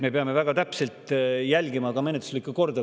Me peame väga täpselt järgima ka menetluslikku korda.